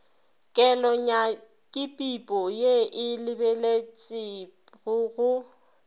kelonyakipipo ye e lebeletpego go